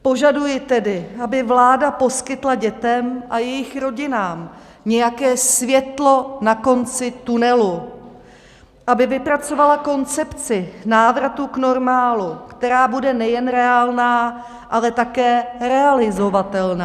Požaduji tedy, aby vláda poskytla dětem a jejich rodinám nějaké světlo na konci tunelu, aby vypracovala koncepci návratu k normálu, která bude nejen reálná, ale také realizovatelná.